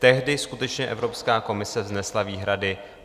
Tehdy skutečně Evropská komise vznesla výhrady.